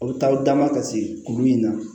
O bɛ taa o dama ka se kuru in na